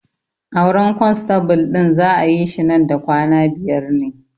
Auren kwanstabul ɗin za'a yi shi man da kwana biyar ne